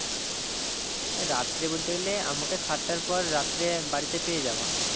রাত্রে বলতে গেলে আমাকে সাতটার পর রাত্রে বাড়িতে পেয়ে যাবে